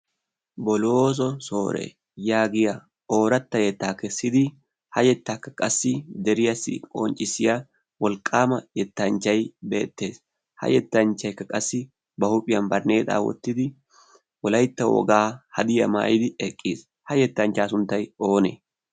bolooso soore yaagiya ooratta yettaa kessidi ha yettaakka qassi deriyaassi qonccissiya wolqqaama yettanchchai beettees ha yettanchchaikka qassi ba huuphiyan barnneexaa wottidi wolaitta wogaa hadiyaa maayidi eqqiis. ha yettanchchaa sunttay oonee?